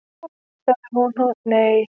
"""Ó, nei sagði hún, nei."""